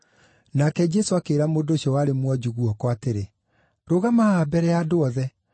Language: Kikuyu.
Nake Jesũ akĩĩra mũndũ ũcio warĩ mwonju guoko atĩrĩ, “Rũgama haha mbere ya andũ othe.”